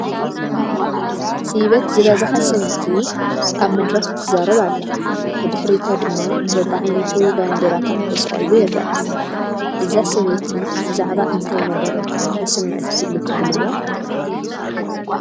ስይበት ዝበዝሓ ሰበይቲ ኣብ መድረኽ ትዛረብ ኣላ፡፡ ብድሕሪታ ድማ በቢዓይነቱ ባንዴራታት ተሰቒሉ ይረአ፡፡ እዛ ሰበይቲ ብዛዕባ እንታይ መደረ ተስምዕ ትህሉ ትብልዋ?